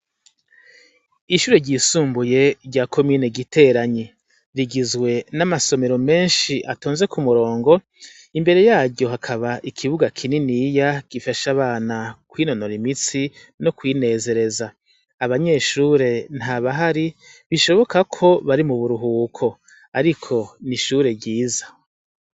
Ishure ryisumbuye rya komine giteranyi rigizwe namasomero menshi atonze kumurongo imbere yaryo hakaba ikibuga kininiya gifasha abana kwinonora imitsi no kwinezereza abanyeshure ntabahari bishoboka ko bari mu buruhuko ariko n’ishure ryiza.